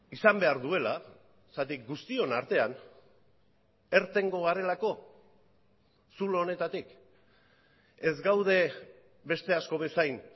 izan behar duela zergatik guztion artean irtengo garelako zulo honetatik ez gaude beste asko bezain